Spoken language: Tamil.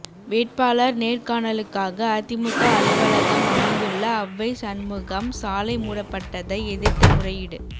வேட்பாளர் நேர்காணலுக்காக அதிமுக அலுவலகம் அமைந்துள்ள அவ்வை சண்முகம் சாலை மூடப்பட்டதை எதிர்த்து முறையீடு